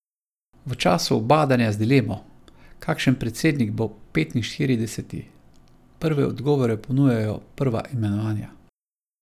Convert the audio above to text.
V času ubadanja z dilemo, kakšen predsednik bo petinštirideseti, prve odgovore ponujajo prva imenovanja.